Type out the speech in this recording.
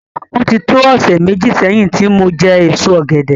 Ó ti tó ọ̀sẹ̀ méji sẹ́yìn tí mo jẹ èso ọ̀gẹ̀dẹ̀